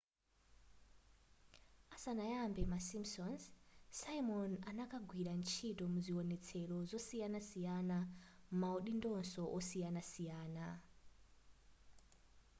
asanayambe ma simpsons simon ankagwira ntchito mzionetselo zosiyananasiyana m'maudindonso osiyanasiyana